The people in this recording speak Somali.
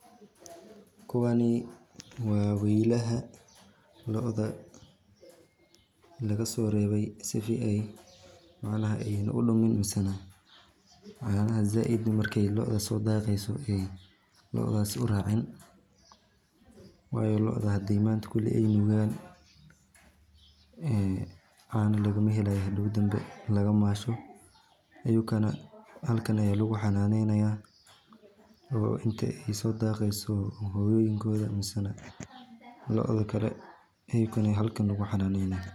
Kuwani waa weylaha lo'da lagaso rebee sidi macnaha ayna udhumin masana caanaha zaaid markay lo'da so dhaqeeyso lodaasi uraacin wayo lo'da hadii manta kuli ay nugan ee caano lagama helayo hadow dambe laga maashot ayukana halkan aya lugu xanaaneyna inta ay soo dhaqeyso hoyooyinkoda mise lo'da kale ayukana halkan lugu xanaaneya